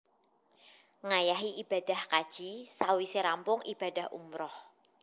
Ngayahi ibadah kaji sawisé rampung ibadah umrah